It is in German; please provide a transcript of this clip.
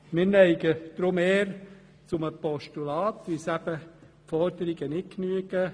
Wir neigen eher zu einem Postulat, weil die Forderungen nicht genügen.